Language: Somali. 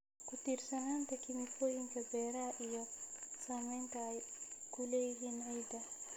Ku-tiirsanaanta kiimikooyinka beeraha iyo saamaynta ay ku leeyihiin ciidda.